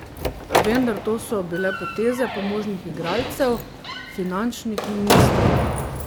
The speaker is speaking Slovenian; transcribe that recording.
Vendar, to so bile poteze pomožnih igralcev, finančnih ministrov.